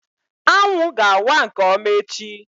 Anwụ ga-awa nke ọma echi